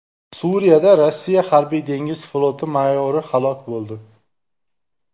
Suriyada Rossiya harbiy dengiz floti mayori halok bo‘ldi.